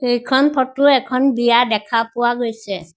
এইখন ফটো এখন বিয়া দেখা পোৱা গৈছে।